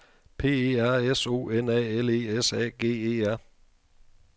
P E R S O N A L E S A G E R